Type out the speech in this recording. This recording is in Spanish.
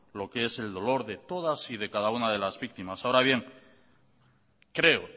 lo que es el dolor de todas y de cada una de las víctimas ahora bien creo